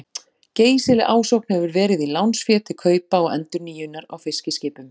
Geysileg ásókn hefur verið í lánsfé til kaupa og endurnýjunar á fiskiskipum.